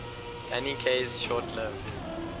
danny kaye's short lived